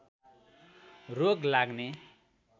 रोग लाग्ने